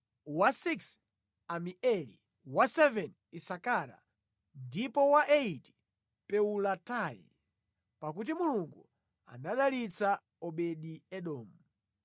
wachisanu ndi chimodzi Amieli, wachisanu ndi chiwiri Isakara ndipo wachisanu ndi chitatu Peuletayi. (Pakuti Mulungu anadalitsa Obedi-Edomu).